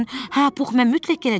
Hə, Pux, mən mütləq gələcəm.